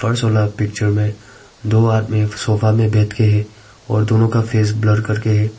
वाला पिक्चर में दो आदमी सोफा में बैठकर है और दोनों का फेस ब्लर करके है।